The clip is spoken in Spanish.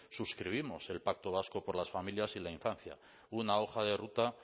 suscribimos el pacto vasco por las familias y la infancia una hoja de ruta